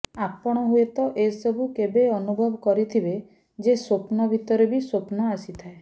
ଆପଣ ହୁଏତ ଏସବୁ କେବେ ଅନୁଭବ କରିଥିବେ ଯେ ସ୍ୱପ୍ନ ଭିତରେ ବି ସ୍ୱପ୍ନ ଆସିଥାଏ